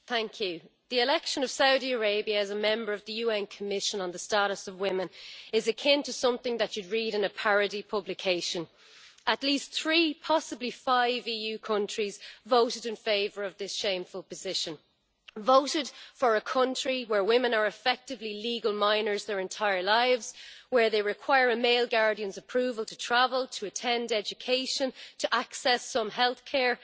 Mr President, the election of Saudi Arabia as a member of the UN Commission on the Status of Women is akin to something that you would read in a parody publication. At least three, possibly five, EU countries voted in favour of this shameful position voted for a country where women are effectively legal minors their entire lives, where they require a male guardian's approval to travel, to attend education, to access some health care.